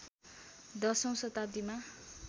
१० औँ शताब्दीमा